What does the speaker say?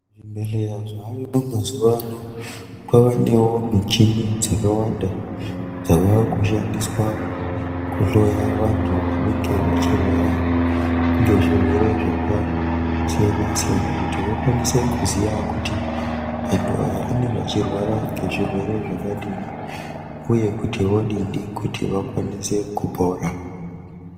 Zvibhedhlera zvaayo mazuwa ano kwavanewo michini dzakawanda dzavakushandiswa kuhloya vantu vanenge vachirwara ngezvirwere zvakasiyana-siyana kuti vakwanise kuziya kuti antu aya anenge achirwara ngezvirwere zvakadini uye kuti vodini kuti vakwanise kupora.